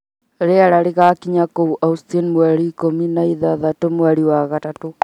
Rĩera rĩgaakinya kũu Austin mweri ikũmi na ĩtandatũ mweri wa gatatũ